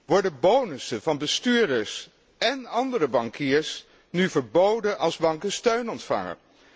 Worden bonussen van bestuurders en andere bankiers nu verboden als banken steun ontvangen?